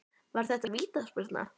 Var þetta vítaspyrna?